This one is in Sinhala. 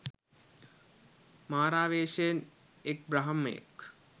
මාරාවේෂයෙන් එක් බ්‍රහ්මයෙක්.